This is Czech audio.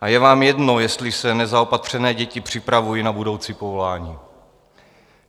a je vám jedno, jestli se nezaopatřené děti připravují na budoucí povolání.